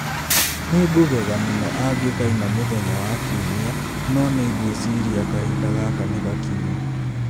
Nĩngũgega mũno angĩkaina mũthenya wa Kiumia, no nĩ ngwĩciria kahinda gaka nĩ gakinyu.